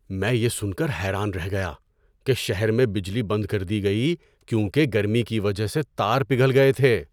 میں یہ سن کر حیران رہ گیا کہ شہر میں بجلی بند کر دی گئی کیونکہ گرمی کی وجہ سے تار پگھل گئے تھے!